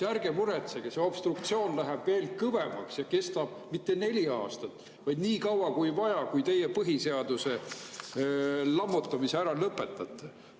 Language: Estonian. Ärge muretsege, obstruktsioon läheb veel kõvemaks ja see ei kesta mitte neli aastat, vaid nii kaua, kui on vaja, kuni teie põhiseaduse lammutamise ära lõpetate.